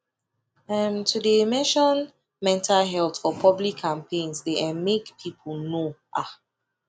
um to de mention mental health for public campaigns de um make people know um